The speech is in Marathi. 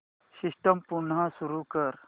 सिस्टम पुन्हा सुरू कर